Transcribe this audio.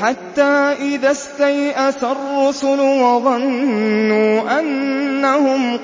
حَتَّىٰ إِذَا اسْتَيْأَسَ الرُّسُلُ وَظَنُّوا أَنَّهُمْ